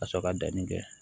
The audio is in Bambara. Ka sɔrɔ ka danni kɛ